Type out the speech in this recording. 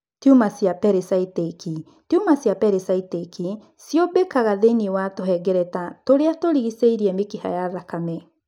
Tiuma cia pericytic, tiuma cia pericytic ciũmbĩkaga thĩinĩ wa tũhengereta tũria tũrigicĩirie mĩkiha ya thakame.